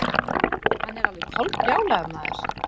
Hann er alveg kolbrjálaður maður.